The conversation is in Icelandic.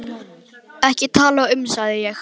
Ekki til að tala um, sagði ég.